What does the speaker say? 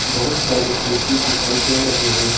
बहुत सारे खुर्सी दिखाई दे रहे है।